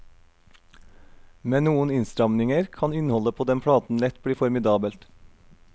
Med noen innstramninger kan innholdet på den platen lett bli formidabelt.